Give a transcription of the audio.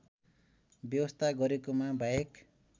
व्यवस्था गरेकोमा वाहेक